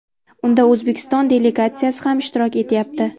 Unda O‘zbekiston delegatsiyasi ham ishtirok etyapti.